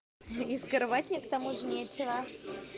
и скрывать мне к тому же нечего